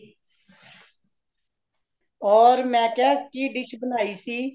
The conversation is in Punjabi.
ਹੋਰ ਮੈ ਕਿਆ, ਕੀ dish ਬਣਾਈ ਸੀ